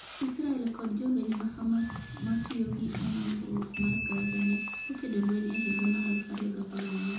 Israel kod jolweny ma Hamas matiyo gi amongruok mar Gaza ne okedo lweny e higa mar 2014.